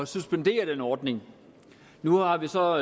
suspendere den ordning nu har vi så